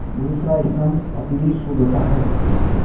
दूसरा स्तम्भ अपनी सुदशा है